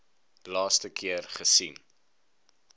laaste keer gesien